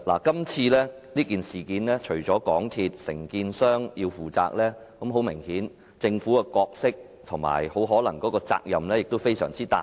今次的事件，除了香港鐵路有限公司及承建商要負責，政府的角色及責任明顯也非常大。